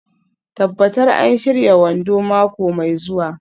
Tabbatar an shirya wando mako mai zuwa.